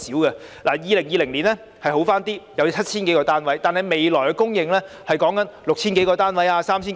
2020年的情況稍好，有 7,000 多個居屋單位供應，但未來只有 6,000 多個及 3,000 多個。